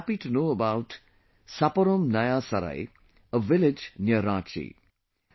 I was happy to know about Saparom Naya Sarai, a village near Ranchi